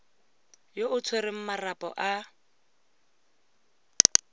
yo o tshwereng marapo a